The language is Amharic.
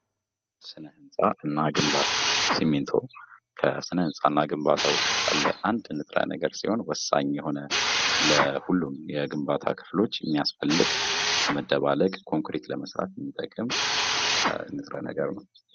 ስነ ህንፃና ግንባታ ሲሚንቶ ከስነ ህንፃ እና ግንባታ ውስጥ ያለ አንድ ንጥረ ነገር ወሳኝ ሲሆን በሁሉም ግንባታ ውስጥ ያለ መደባለቅ ኮንክሪት ለመስራት የሚጠቅመም ንጥረ ነገር ነው።